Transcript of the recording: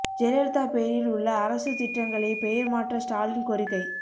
ஜெயலலிதா பெயரில் உள்ள அரசு திட்டங்களை பெயர் மாற்ற ஸ்டாலின் கோரிக்கை